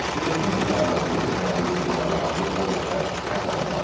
İlkin məlumata görə şəhərə hücum zamanı azı 10 nəfər xəsarət almışdır.